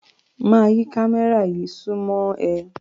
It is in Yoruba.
Máa yí kámẹ́rà yí súnmọ́ ẹ.